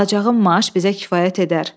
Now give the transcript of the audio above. Alacağım maaş bizə kifayət edər.